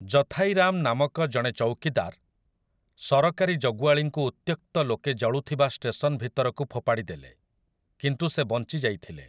ଜଥାଇ ରାମ୍ ନାମକ ଜଣେ ଚୌକିଦାର, ସରକାରୀ ଜଗୁଆଳୀଙ୍କୁ ଉତ୍ତ୍ୟକ୍ତ ଲୋକେ ଜଳୁଥିବା ଷ୍ଟେସନ୍‌ ଭିତରକୁ ଫୋପାଡ଼ିଦେଲେ, କିନ୍ତୁ ସେ ବଞ୍ଚି ଯାଇଥିଲେ ।